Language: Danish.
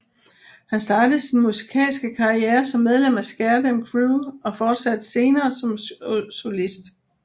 Han startede sin musikalske karriere som medlem af Scare Dem Crew og fortsatte senere som solist